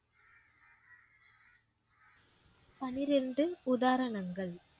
பன்னிரண்டு உதாரணங்கள்.